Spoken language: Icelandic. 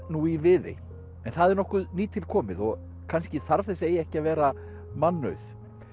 nú í Viðey en það er nokkuð nýtilkomið og kannski þarf þessi eyja ekki að vera mannauð